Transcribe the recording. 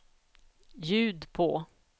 ljud på